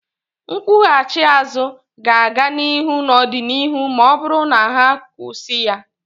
Nkwughachi azụ ga-aga n'ihu n'ọdịnihu ma ọ bụrụ na ha kusii ya.